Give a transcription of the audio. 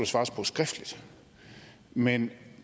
svares på skriftligt men